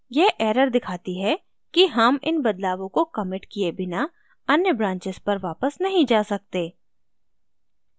यह error दिखाती है कि हम इन बदलावों को कमिट किये बिना अन्य branches पर वापस नहीं जा सकते